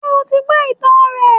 Sé o ti gbó ìtàn rẹ̀